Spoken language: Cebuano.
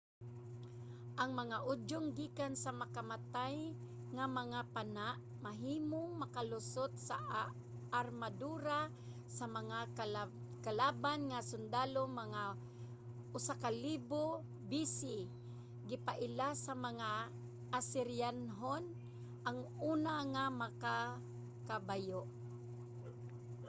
ang mga udyong gikan sa makamatay nga mga pana mahimong makalusot sa armadura sa mga kalaban nga sundalo. mga 1000 b.c,. gipaila sa mga asiryanhon ang una nga magkakabayo